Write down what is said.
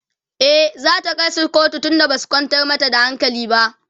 e zata kaisu kotu tun da Basu kwantar mata da hankali ba